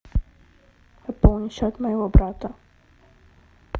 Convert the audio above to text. пополни счет моего брата